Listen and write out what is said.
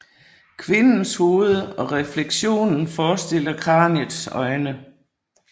Kvindens hoved og refleksionen forestiller kraniets øjne